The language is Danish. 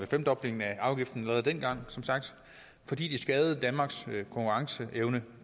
femdobling af afgiften allerede dengang fordi det skadede danmarks konkurrenceevne